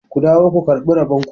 ku dawo ku karɓi rabonku!